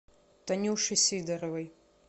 танюше сидоровой